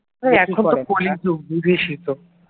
এখন তো কলিযুগ বুঝিসই তো